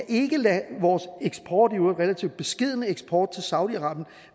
ikke lade vores eksport i øvrigt relativt beskedne eksport til saudi arabien